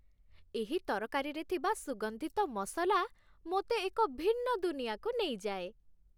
ଏହି ତରକାରୀରେ ଥିବା ସୁଗନ୍ଧିତ ମସଲା ମୋତେ ଏକ ଭିନ୍ନ ଦୁନିଆକୁ ନେଇଯାଏ।